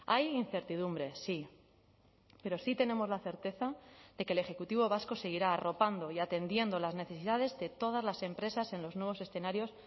hay incertidumbre sí pero sí tenemos la certeza de que el ejecutivo vasco seguirá arropando y atendiendo las necesidades de todas las empresas en los nuevos escenarios